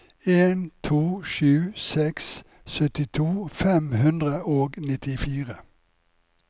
en to sju seks syttito fem hundre og nittifire